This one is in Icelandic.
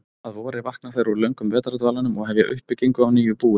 Að vori vakna þær úr löngum vetrardvalanum og hefja uppbyggingu á nýju búi.